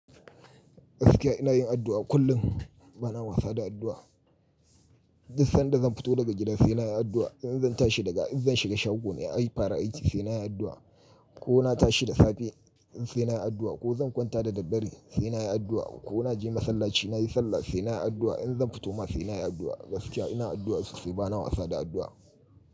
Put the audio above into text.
Gaskiya ina yin addu'a kullum bana wasa da addu'a. Duk sanda zan fito daga gida sai na yi addu'a. Idan tashi daga, in zan shiga shago ne ai fara aiki sai na yi addu'a. Ko na tashi da safe sai nayi addu'a. Ko zan kwanta da daddare sai na yi addu'a. Kona je masallaci na yi sallah sai na yi addu'a. In zan fito ma sai na yi addu'a. Gaskiya ina addu'a sosai bana wasa da addu'a.